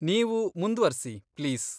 ನೀವು ಮುಂದ್ವರ್ಸಿ, ಪ್ಲೀಸ್.